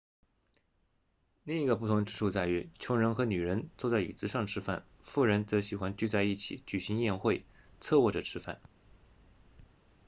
另一个不同之处在于穷人和女人坐在椅子上吃饭富人则喜欢聚在一起举行宴会侧卧着吃饭